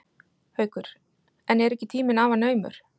Haukur: En er ekki tíminn afar naumur?